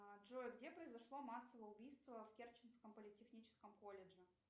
джой где произошло массовое убийство в керченском политехническом колледже